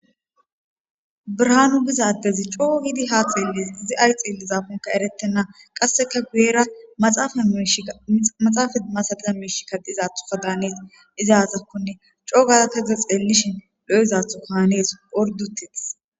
birahaanu bizaddezi coo yiidi haa xeelles zi ay xieli zakonka eretenna qasseka guyera maxaafa masata meeshi kadizathuka daanees izaazakkonne coo gazakaza xeellishin do7izathu kaanees ordutetis